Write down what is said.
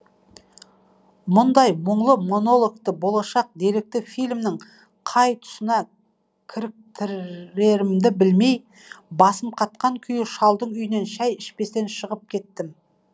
мұндай мұңлы монологты болашақ деректі фильмнің қай тұсына кіріктірерімді білмей басым қатқан күйі шалдың үйінен шай ішпестен шығып кеттім